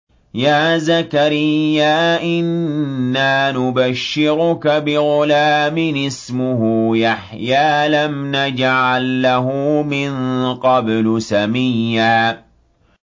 يَا زَكَرِيَّا إِنَّا نُبَشِّرُكَ بِغُلَامٍ اسْمُهُ يَحْيَىٰ لَمْ نَجْعَل لَّهُ مِن قَبْلُ سَمِيًّا